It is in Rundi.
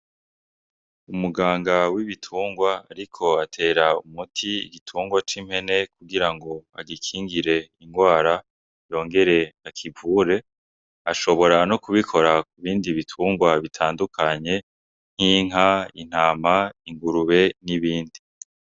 Umuganga w'ibitungwa ariko atera umiti igitungwa c'impene kugirango agikingire ingwara yongere akivure ashobora no kubikora kubindi bitungwa bitandukanye nk'inka , intama , ingurube n,ibindi.